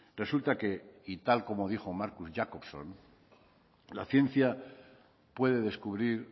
resulta que y tal como dijo marcus jacobson la ciencia puede descubrir